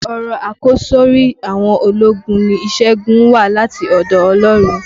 Ọ̀rọ̀ àkọsọ́rí àwọn ológun ni "ìṣẹ́gun wá láti ọ̀dọ̀ Ọlọ́run".